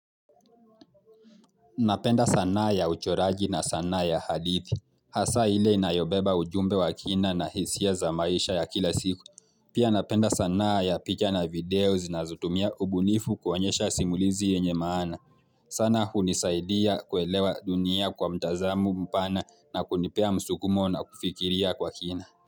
Napenda sanaa ya uchoraji na sanaa ya hadithi, hasa hile inayobeba ujumbe wa kina na hisia za maisha ya kila siku. Pia napenda sanaa ya picha na video zinazotumia ubunifu kuoanyesha simulizi yenye maana. Sana hunisaidia kuelewa dunia kwa mtazamo mpana na kunipea msukumo na kufikiria kwa kina.